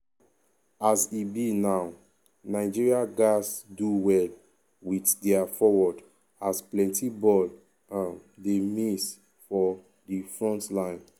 a s e be now nigeria now nigeria gatz do well wit dia forward as plenti ball um dey miss for di frontline.